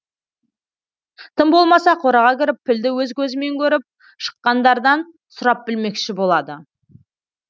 тым болмаса қораға кіріп пілді өз көзімен көріп шыққандардан сұрап білмекші болады